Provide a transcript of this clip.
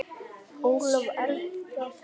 Ólöf Eldjárn þýddi.